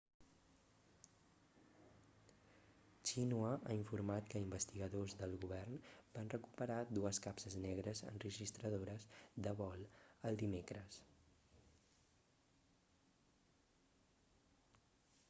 xinhua ha informat que investigadors del govern van recuperar dues capses negres' enregistradores de vol el dimecres